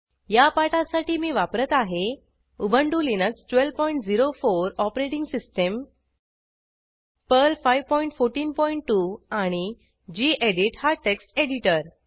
या पाठासाठी मी वापरत आहे Ubuntu Linux 1204 operating system Perl 5142 आणि गेडीत हा टेक्स्ट एडिटर